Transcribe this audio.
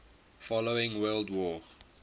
following world war